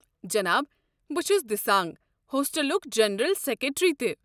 جناب، بہٕ چھُس دِسانٛگ ہوسٹلُک جنرل سٮ۪کرٮ۪ٹری تہِ۔